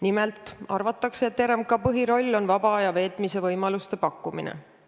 Nimelt arvatakse, et RMK põhiroll on vaba aja veetmise võimaluste pakkumine.